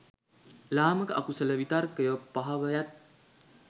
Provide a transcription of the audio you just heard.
ලාමක අකුසල විතර්කයෝ පහව යත්.